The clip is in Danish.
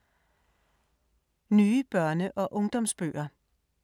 Nye børne- og ungdomsbøger